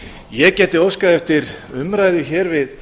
ég gæti óskað eftir umræðu hér við